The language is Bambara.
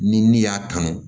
Ni n'i y'a kanu